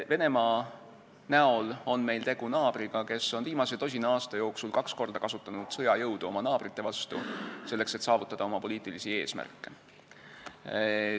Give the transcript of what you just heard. Venemaa on naaber, kes on viimase tosina aasta jooksul kaks korda kasutanud sõjajõudu oma naabrite vastu, selleks et saavutada oma poliitilisi eesmärke.